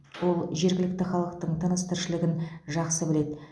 ол жергілікті халықтың тыныс тіршілігін жақсы біледі